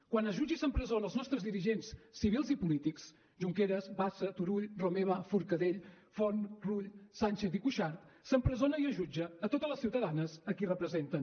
quan es jutja i s’empresona els nostres dirigents civils i polítics junqueras bassa turull romeva forcadell forn rull sànchez i cuixart s’empresona i es jutja totes les ciutadanes a qui representen